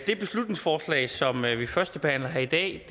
det beslutningsforslag som vi førstebehandler her i dag